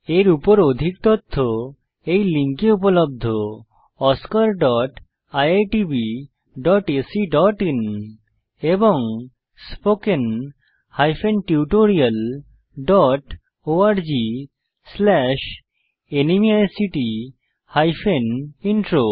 এর উপর অধিক তথ্য এই লিঙ্কে উপলব্ধ oscariitbacআইএন এবং spoken tutorialorgnmeict ইন্ট্রো